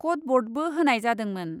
कडबर्डबो होनाय जादोंमोन ।